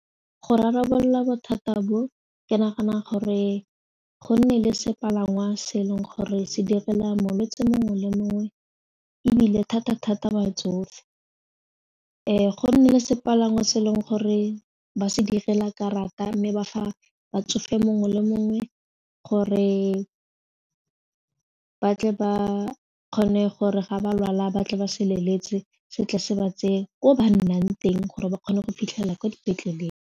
Fo rarabolola bothata bo ke nagana gore go nne le sepalangwa se e leng gore se direla molwetsi mongwe le mongwe ebile thata thata batsofe go nne le sepalangwa se e leng gore ba se direla karata mme ba fa batsofe mongwe le mongwe gore batle ba kgone gore ga ba lwala ba tle ba se leletse se tle se ba tseye ko ba nnang teng gore ba kgone go fitlhelela kwa dipetleleng.